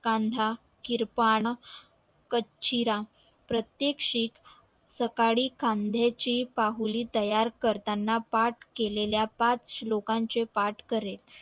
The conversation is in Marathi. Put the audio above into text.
कांदा किर्पाण कंचीराम प्रत्येक शीख सकाळी खांद्या ची पाहुली तयार करताना पाठ केलेल्या पाच शोल्का चे पाठ करेल